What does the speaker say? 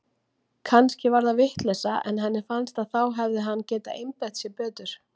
Kannski var það vitleysa en henni fannst að þá hefði hann getað einbeitt sér betur.